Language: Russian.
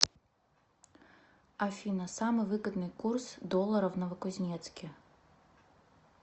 афина самый выгодный курс доллара в новокузнецке